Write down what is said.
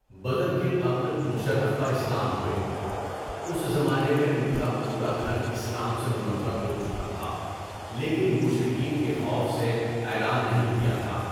بدر کے قبل مُشَرَّف بَاِسلام ہوئے، اس زمانہ میں ان کا پورا گھر اسلام سے منور ہو چکا تھا لیکن مشرکین کے خوف سے اعلان نہیں کیا تھا۔